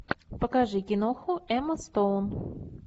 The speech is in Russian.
покажи киноху эмма стоун